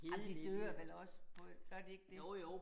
Ej men de dør vel også på et gør de ikke det?